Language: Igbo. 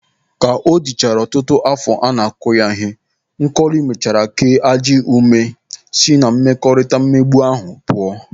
Ka o dịchara ọtụtụ afọ a na-akụ ya ihe, Nkọli mechara kee ajị n'ume si na mmekọrịta mmegbu ahụ pụọ.